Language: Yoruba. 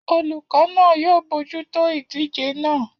.Olùkọ́ náà yóò bójútó ìdíje naa